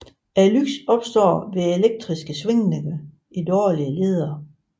Lyset opstår ved elektriske svingninger i dårlige ledere